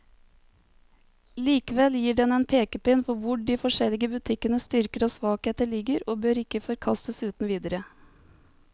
Likevel gir den en pekepinn på hvor de forskjellige butikkenes styrker og svakheter ligger, og bør ikke forkastes uten videre.